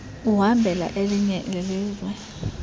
uhambela elinye ilizwe